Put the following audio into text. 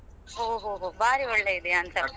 ಹೋ ಹೋ ಬಾರಿ ಒಳ್ಳೆಯದೇ ಅಂತ.